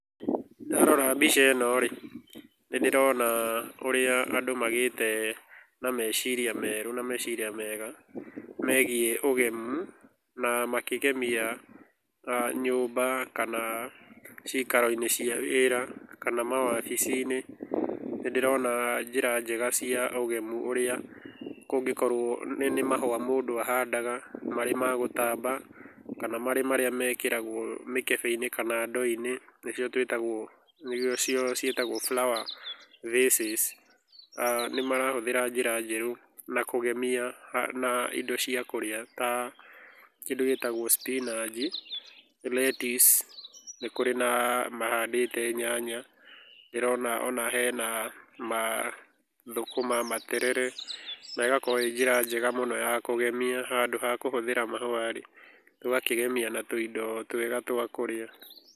Ndarora mbica ĩno rĩ, nĩ ndĩrona ũrĩa andũ magĩte na meciria merũ na meciria mega megiĩ ũgemu na makĩgemia nyũmba kana ciikaro-inĩ cia wĩra kana mawabici-ini. Nĩ ndĩrona njĩra njega cia ũgemu ũrĩa kũngĩkorũo nĩ mahũa mũndũ ahandaga marĩ ma gũtamba kana marĩ marĩa mekĩragũo mĩkebe-inĩ kana ndoo-inĩ nĩcio ciĩtagwo flower vases. Nĩ marahũthĩra njĩra njerũ na kũgemia na indo cia kũrĩa ta kĩndũ gĩtagũo spinach, lettuce, nĩkũrĩ na mahandĩte nyanya, ndĩrona ona hena mathũkũma, materere, na ĩgakorũo ĩĩ njĩra njega mũno ya kũgemia. Handũ ha kũhũthĩra mahũa rĩ, tũgakĩgemia na tũindo twega twa kũria.